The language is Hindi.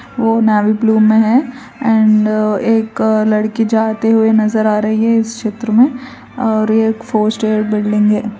वो नेवी ब्लू में है एंड एक लड़की जाते हुए नजर आ रही है इस चित्र में और ये फोर स्टोरी बिल्डिंग है।